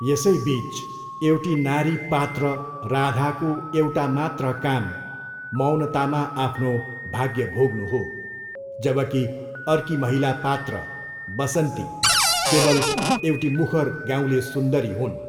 यसैबिच, एउटी नारी पात्र राधाको एउटा मात्र काम मौनतामा आफ्नो भाग्य भोग्नु हो, जबकि अर्की महिला पात्र बसन्ती केवल एउटी मुखर गाउँले सुन्दरी हुन्।